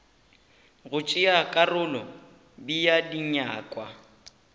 go tšea karolo bea dinyakwa